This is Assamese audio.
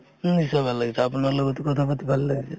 নিশ্চয় ভাল লাগিছে । আপোনাৰ লগতো কথা পাতি ভাল লাগিছে ।